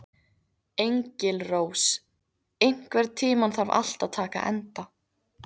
Engilrós, einhvern tímann þarf allt að taka enda.